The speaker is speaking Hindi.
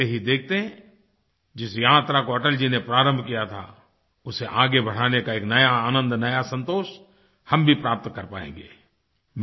देखतेहीदेखते जिस यात्रा को अटल जी ने प्रारंभ किया था उसे आगे बढ़ाने का एक नया आनंद नया संतोष हम भी प्राप्त कर पाएँगे